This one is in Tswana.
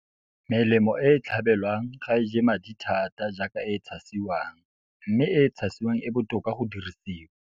Melemo e e tlhabelwang ga e je madi thata jaaka e e tshasiwang, mme e e tshasiwang e botoka go dirisiwa.